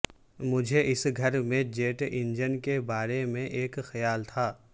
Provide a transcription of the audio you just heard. مجھے اس گھر میں جیٹ انجن کے بارے میں ایک خیال تھا